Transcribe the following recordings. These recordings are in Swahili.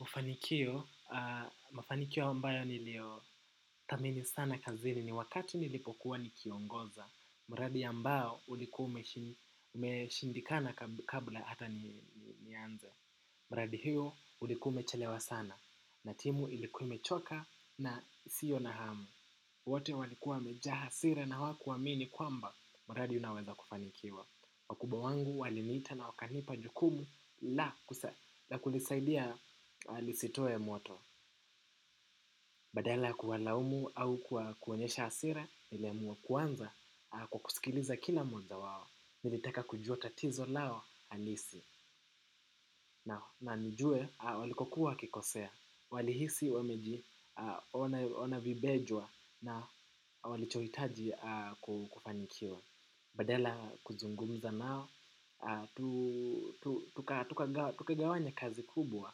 Mufanikio, mafanikio ambayo nilio thamini sana kazini ni wakati nilipokuwa nikiongoza mradi ya mbao ulikua ume shindikana kabla hata nianze. Mradi hiyo ulikua ume chelewa sana na timu ilikua ime choka na sio na hamu. Wote walikuwa wamejaa hasira na hawakuwamini kwamba mradi unaweza kufanikiwa. Wa kubwa wangu waliniita na wakanipa jukumu la kunisaidia lisitoe moto. Badala kuwalaumu au kuwakuonyesha hasira, niliamua kuanza kwa kusikiliza kila mmoja wao. Nilitaka kujua tatizo lao halisi. Na nijue walikokuwa wakikosea. Walihisi wameji ona vibejwa na walichoitaji kufanikiwa. Badala kuzungumza nao tukigawanya kazi kubwa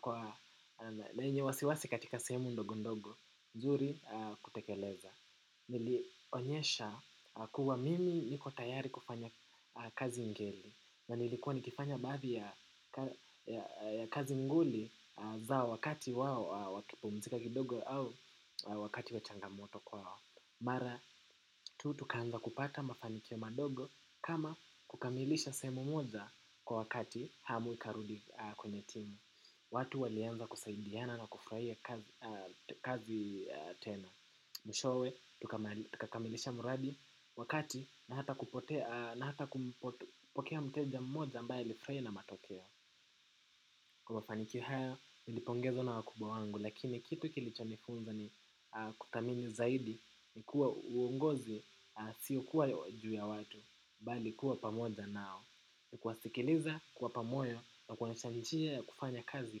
kwa lenye wasiwasi katika sehemu ndogo ndogo, nzuri kutekeleza. Nilionyesha kuwa mimi niko tayari kufanya kazi ngeli na nilikuwa nikifanya baadhi ya kazi nguli zao wakati wao wakipumzika kidogo au wakati wa changamoto kwao. Mara tu tukaanza kupata mafanikio madogo kama kukamilisha sehemu moja kwa wakati hamu ikarudi kwenye timu. Watu walianza kusaidiana na kufraia kazi tena. Mwishowe tukakamilisha mradi wakati na hata kupokea mteja mmoja ambaye lifurahi na matokeo. Kwa mafanikio haya nilipongezwa na wakubwa wangu lakini kitu kilicho nifunza ni kuthamini zaidi ni kuwa uongozi sio kuwa juu ya watu bali kuwa pamoja nao ni kuwasikiliza kuwapa moyo na kuwaonyesha njia kufanya kazi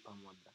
pamoja.